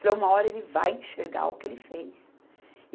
Falei, uma hora ele vai enxergar o que ele fez.